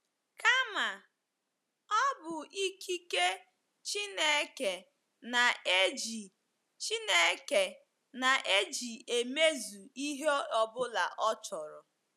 Kama, ọ bụ ikike Chineke na-eji Chineke na-eji emezu ihe ọ bụla ọ chọrọ.